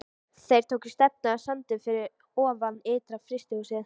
Þeir tóku stefnuna á sandinn fyrir ofan ytra-frystihúsið.